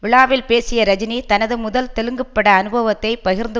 விழாவில் பேசிய ரஜினி தனது முதல் தெலுங்கப்பட அனுபவத்தை பகிர்ந்து